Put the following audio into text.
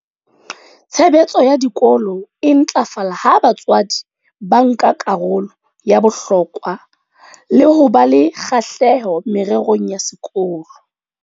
"Tshebetso ya dikolo e ntlafala ha batswadi ba nka karolo ya bohlokwa le ho ba le kgahleho mererong ya sekolo."